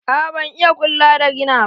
A'a ban iya ƙulla da rina ba.